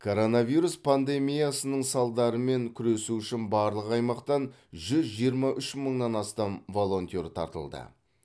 коронавирус пандемиясының салдарымен күресу үшін барлық аймақтан жүз жиырма үш мыңнан астам волонтер тартылды